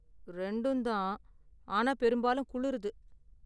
ரெண்டும்தான், ஆனா பெரும்பாலும் குளிருது.